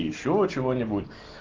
ещё чего-нибудь